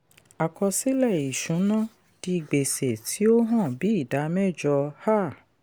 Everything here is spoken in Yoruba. àkọsílẹ̀ ìṣùná di gbèsè tí ó hàn bí ìdá mẹ́jọ. um